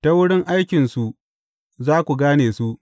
Ta wurin aikinsu za ku gane su.